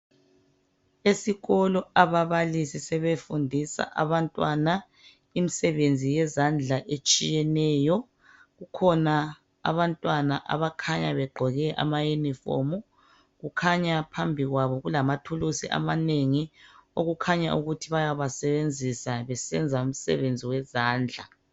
Esikolo ababalisi sebefundisa abantwana imisebenzi yezandla etshiyeneyo. Kukhona abantwana abakhanya begqoke ama uniform kukhanya phambikwabo kulamathulusi amanengi. Okukhanya ukuthi bayabasebenzisa besenza umsebenzi wezandla .